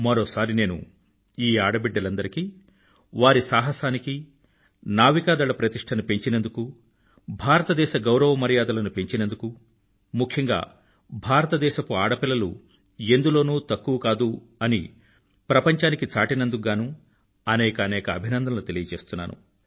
మరోసారి నేను ఈ ఆడబిడ్డలందరికీ వారి సాహసానికి నావికాదళ ప్రతిష్టను పెంచినందుకు భారతదేశ గౌరవ మర్యాదలను పెంచినందుకు ముఖ్యంగా భారతదేశపు ఆడపిల్లలు ఎందులోనూ తక్కువ కాదు అని ప్రపంచానికి చాటినందుకు గానూ అనేకానేక అభినందనలు తెలియచేస్తున్నాను